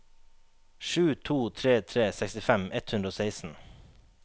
sju to tre tre sekstifem ett hundre og seksten